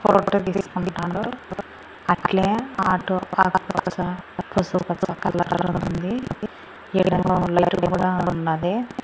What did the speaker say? Photo తీసుకుంటాండు అట్లే auto పసుపు పచ్చ కలర్ ఉంది ఈడేమో లైటు కూడా ఉన్నది.